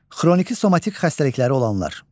Xroniki somatik xəstəlikləri olanlar.